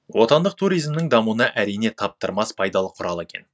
отандық туризмнің дамуына әрине таптырмас пайдалы құрал екен